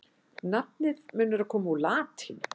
Nafnið mun vera komið úr latínu.